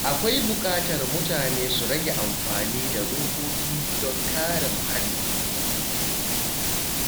Akwai buƙatar mutane su rage amfani da robobi don kare muhalli.